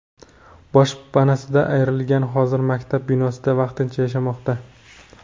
Boshpanasidan ayrilganlar hozir maktab binosida vaqtincha yashashmoqda.